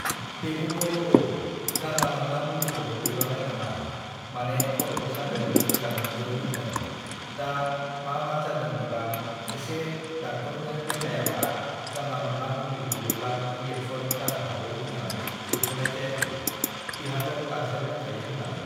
बेखौथ' औ जानला-मानला मुलिखौ दौजानाय नङा माने खर'बो सादों गोजांदोंबो होनदों दा मा मा जादों बिबा एसे डक्ट'रनो देखायाबा जानला-मानला मुलि दौओब्ला रियेक्स'न (Reaction) जानो हागौ होननानै दौथ'नाय जायाखै। बिहाथ' गारजेन (Guardian) दंखायो होननानै।